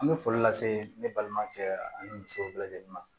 An bɛ foli lase ne balima cɛ ani musow bɛɛ lajɛlen ma